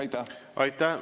Aitäh!